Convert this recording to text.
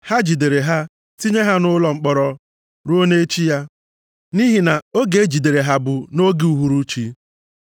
Ha jidere ha tinye ha nʼụlọ mkpọrọ, ruo nʼechi ya. Nʼihi na oge e jidere ha bụ nʼoge uhuruchi.